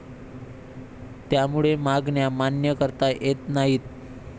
त्यामुळे मागण्या मान्य करता येत नाहीत.